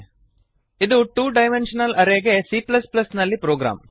ಇದು two dimensional array ಗೆ c ನಲ್ಲಿ ಪ್ರೊಗ್ರಾಮ್